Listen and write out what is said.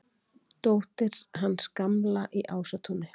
Dóttir hans Gamla í Ásatúni!